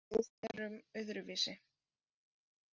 Við erum öðruvísi